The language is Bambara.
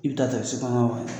I bɛ ta ta sukɔnɔ ma ye.